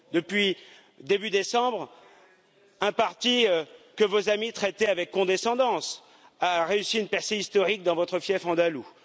Depuis début décembre, un parti que vos amis traitaient avec condescendance a réussi une percée historique dans votre fief andalou.